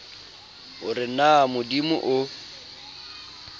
o re na modimo o